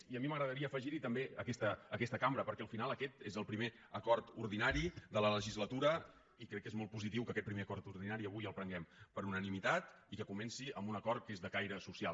i a mi m’agradaria afegir hi també aquesta cambra perquè al final aquest és el primer acord ordinari de la legislatura i crec que és molt positiu que aquest primer acord ordinari avui el prenguem per unanimitat i que comenci amb un acord que és de caire social